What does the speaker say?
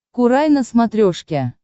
курай на смотрешке